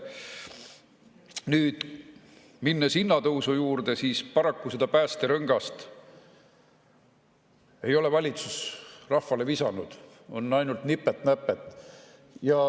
Nüüd, minnes hinnatõusu juurde, siis paraku seda päästerõngast ei ole valitsus rahvale visanud, on ainult nipet-näpet.